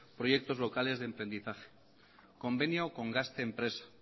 proyectos locales de emprendizaje convenio con gazte enpresa